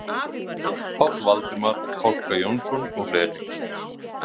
Páll Valdimar Kolka Jónsson og fleiri.